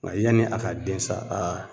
Nka yanni a ka den sa aa